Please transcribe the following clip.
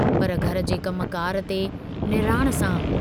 पर घर जे कम कार ते निणान सां